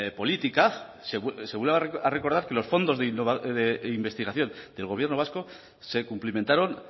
política se vuelve a recordar que los fondos de investigación del gobierno vasco se cumplimentaron